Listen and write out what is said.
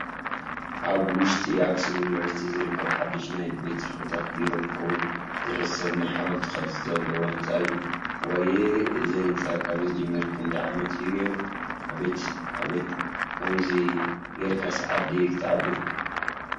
ኣብ ውሽጢ ኣክሱም ዩኒቨርስቲ ዝርከብ ሓዱሽ ናይ ቤትፅሕፈታት ቢሮ ክከውን ዝሕሰብ ናይ ሓወልቲ ቅርፂ ዘለዎ ህንፃ እዩ። ዋየ!... እዚ ህንፃ ካብ ዝጅመር ክንዳይ ዓመት እዩ ገይሩ። ኣቤት! ኣቤት! ከምዙይ ገይርካስ ዓዲ ክተዓቢ?